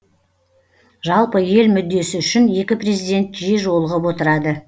жалпы ел мүддесі үшін екі президент жиі жолығып отырады